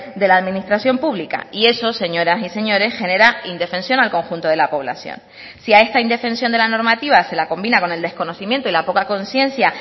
de la administración pública y eso señoras y señores genera indefensión al conjunto de la población si a esta indefensión de la normativa se la combina con el desconocimiento y la poca conciencia